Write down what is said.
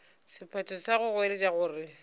sephetho sa go goeletša gore